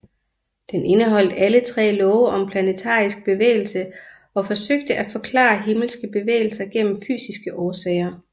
Den indeholdt alle tre love om planetarisk bevægelse og forsøgte at forklare himmelske bevægelser gennem fysiske årsager